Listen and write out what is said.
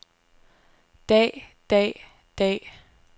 dag dag dag